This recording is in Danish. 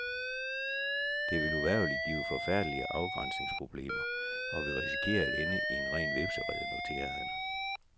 Det vil uvægerligt give forfærdelige afgrænsningsproblemer og vi risikerer at ende i en ren hvepserede, noterede han.